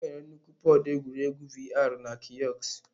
Enwere nnukwu pọd egwuregwu VR na kiosk.